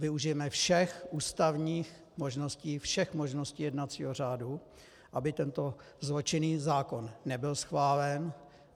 Využijeme všech ústavních možností, všech možností jednacího řádu, aby tento zločinný zákon nebyl schválen.